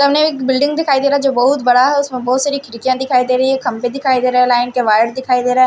सामने एक बिल्डिंग दिखाई दे रहा है जो बहुत बड़ा है उसमें बहुत सारी खिड़कियां दिखाई दे रही है खंपे दिखाई दे रहे हैं लाइन के वायर दिखाई दे रहा है।